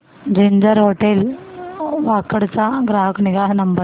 ginger hotel Wakad चा ग्राहक निगा नंबर